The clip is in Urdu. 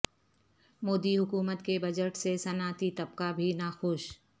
مودی حکومت کے بجٹ سے صنعتی طبقہ بھی ناخوش